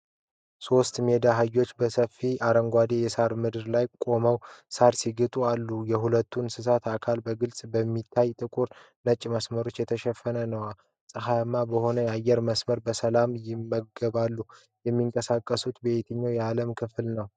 ሶስት ሜዳ አህዮች በሰፊና አረንጓዴ የሳር ምድር ላይ ቆመው ሣር ሲግጡ አሉ። የሁሉም እንስሳት አካል በግልጽ በሚታዩ ጥቁርና ነጭ መስመሮች የተሸፈነ ነው። ፀሐያማ በሆነ አየር ውስጥ በሰላም ይመገባሉ። የሚንቀሳቀሱትስ በየትኛው የዓለም ክፍል ነው?